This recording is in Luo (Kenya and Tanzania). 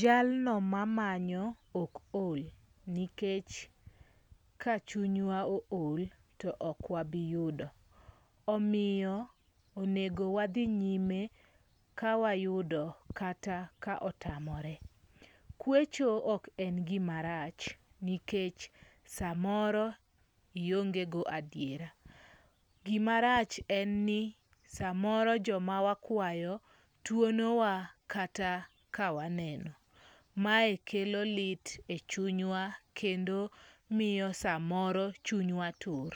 Jalno mamanyo ok ol nikech kachunywa ool to ok wabi yudo. Omiyo onego wadhi nyime ka wayudo kata ka otamore. Kwecho ok en gima rach nikech samoro iongego adiera. Gimarach en ni samoro joma wakwayo tuonowa kata ka waneno. Mae kelo lit e chunywa kendo miyo samoro chunywa tur.